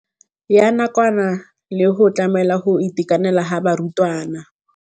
ya nakwana le go tlamela go itekanela ga barutwana.